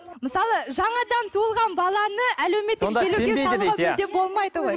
мысалы жаңадан туылған баланы әлеуметтік желіге салуға мүлде болмайды ғой